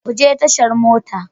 Ku je tashar mota.